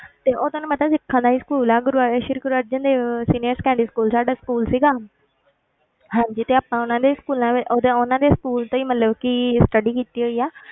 ਤੇ ਉਹ ਤੁਹਾਨੂੰ ਪਤਾ ਸਿੱਖਾਂ ਦਾ ਹੀ school ਹੈ Guru Sri Guru Arjan Dev senior secondary school ਸਾਡਾ school ਸੀਗਾ ਹਾਂਜੀ ਤੇ ਆਪਾਂ ਉਹਨਾਂ ਦੇ ਹੀ schools ਉਹਦੇ ਉਹਨਾਂ ਦੇ school ਤੋਂ ਹੀ ਮਤਲਬ ਕਿ study ਕੀਤੀ ਹੋਈ ਆ,